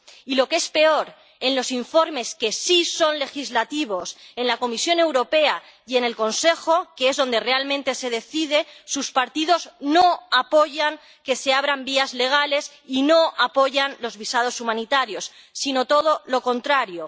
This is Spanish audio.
Y, lo que es peor en los informes que sí son legislativos, en la Comisión Europea y en el Consejo, que es donde realmente se decide, sus partidos no apoyan que se abran vías legales y no apoyan los visados humanitarios, sino todo lo contrario.